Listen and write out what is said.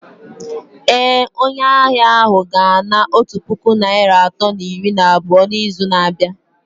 Ee, onye ahịa ahụ ga-ana otu puku naịra atọ na iri na abụọ n’izu na-abịa